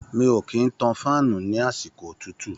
Mi ò kì ń tan fáànù ní àsìkò òtútù.